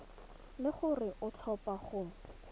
le gore o tlhopha go